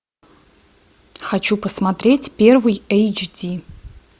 хочу посмотреть первый эйч ди